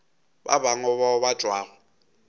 ba bangwe bao ba tšwago